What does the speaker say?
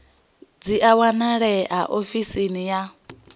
dzi a wanalea ofisini ya